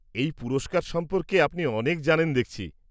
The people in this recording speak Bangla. -এই পুরস্কার সম্পর্কে আপনি অনেক জানেন দেখছি।